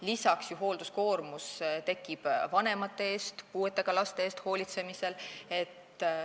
Lisaks tekib hoolduskoormus eakate vanemate või puuetega laste eest hoolitsemisel.